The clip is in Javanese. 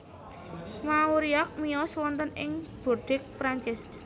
Mauriac miyos wonten ing Bordeaux Prancis